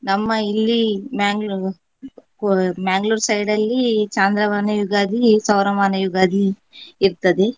ನಮ್ಮ ಇಲ್ಲಿ ಮ್ಯಾಂಗ್ಳೂರ್ ಮ್ಯಾಂಗ್ಳೂರ್ side ಲ್ಲಿ ಚಾಂದ್ರಮಾನ ಯುಗಾದಿ ಸೌರಮಾನ ಯುಗಾದಿ ಇರ್ತದೆ.